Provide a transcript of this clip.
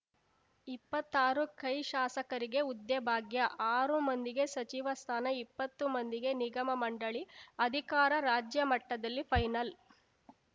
ಇಪ್ಪತ್ತಾರು ಕೈ ಶಾಸಕರಿಗೆ ಹುದ್ದೆ ಭಾಗ್ಯ ಆರು ಮಂದಿಗೆ ಸಚಿವ ಸ್ಥಾನ ಇಪ್ಪತ್ತು ಮಂದಿಗೆ ನಿಗಮಮಂಡಳಿ ಅಧಿಕಾರ ರಾಜ್ಯ ಮಟ್ಟದಲ್ಲಿ ಫೈನಲ್‌